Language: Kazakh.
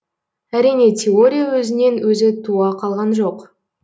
әрине теория өзінен өзі туа қалған жоқ